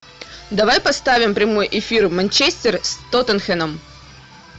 давай поставим прямой эфир манчестер с тоттенхэмом